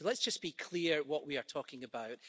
So let's just be clear what we are talking about.